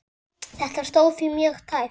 Þetta stóð því mjög tæpt.